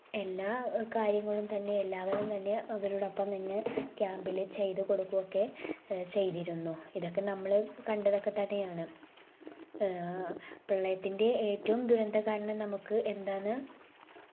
എല്ലാ ഏർ കാര്യങ്ങളും തന്നെ എല്ലാവരും തന്നെ അവരോടൊപ്പം തന്നെ camp ൽ ചെയ്ത്കൊടുക്കുവൊക്കെ ഏർ ചെയ്തിരുന്നു. ഇതൊക്കെ നമ്മൾ കണ്ടതൊക്കെ തന്നെയാണ് ഏർ പ്രളയത്തിന്റെ ഏറ്റവും ദുരന്ത കാരണം നമുക്ക് എന്താന്ന്